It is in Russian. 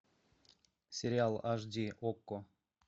сериал аш ди окко